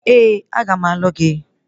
Ee, aga m alụ gị